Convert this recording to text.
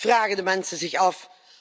vragen de mensen zich af.